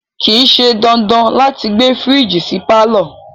Kìí ṣe dandan láti gbé fírìjì sí pàlọ́